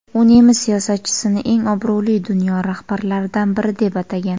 U nemis siyosatchisini eng obro‘li dunyo rahbarlaridan biri deb atagan.